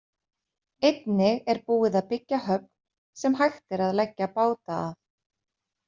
Einnig er búið að byggja höfn sem hægt er að leggja báta að.